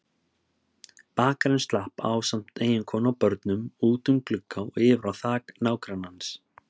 Bakarinn slapp ásamt eiginkonu og börnum út um glugga og yfir á þak nágrannans.